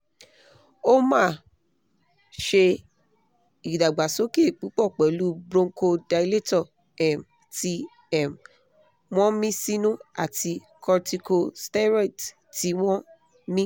o máa ṣe ìdàgbàsókè púpọ̀ pẹ̀lú bronchodilator um tí um wọ́n mí sínú àti corticosteroids tí wọ́n mí